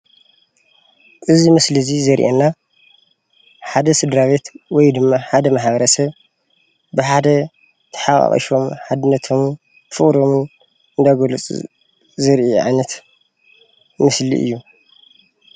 እዚ ምስሊ ዚ ዘርአየና ሓደ ስድራቤት ወይ ድማ ሓደ ማሕበረሰብ ብሓደ ተሓቋቂፎም ሓድነቶሞን ፍቅሮምን እናገለፁ ዘርኢ ዓይነት ምስሊ ኦዩ።